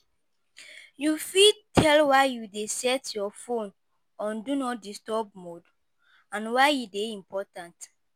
u fit tell why u dey set your fone on do not disturub mode and y he dey important